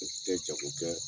N tɛ jako kɛ